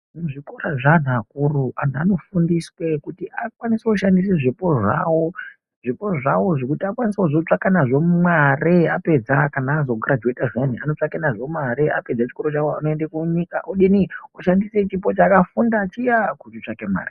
Muzvikora zveanhu akuru, anhu anofundiswe kuti akwanise kushandise zvipo zvawo. Zvipo zvawo zvekuti akwanise kuzotsvaka nazvo mare apedza kana azo girajuweta zviyani anotsvaka nazvo mare apedza chikoro chawo anoende munyika odini oshandise chipo chakafunda chiya kuchitsvake mare.